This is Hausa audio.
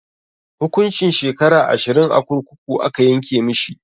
Hukuncin shekara ashirin a kurkuku aka yanke mishi.